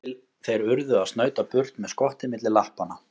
Þangað til þeir urðu að snauta burt með skottið milli lappanna.